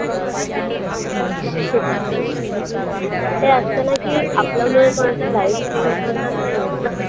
हम्म ते असतं ना की आपल्यामुळे कोणाचं life change होतं असेल ना